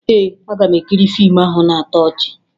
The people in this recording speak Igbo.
Ee, aga m ekiri fiimu ahụ na-atọ ọchị